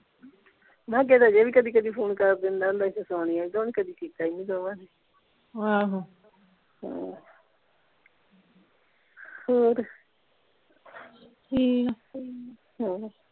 ਮੈਂ ਕਿਹਾ ਅਜੇ ਵੀ ਕਦੀ ਕਦੀ ਫ਼ੋਨ ਕਰ ਦਿੰਦਾ ਹੁੰਦਾ ਸੀ ਤੇ ਸੋਨੀਆ ਵੀ ਤੇ ਹੁਣ ਕਦੇ ਕੀਤਾ ਹੀ ਨਹੀਂ ਦੋਨਾਂ ਨੇ ਆਹੋ ਹਮ ਹੋਰ ਠੀਕ ਆ ਹਮ